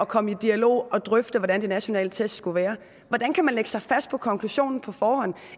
komme i dialog og drøfte hvordan de nationale test skal være hvordan kan man lægge sig fast på konklusionen på forhånd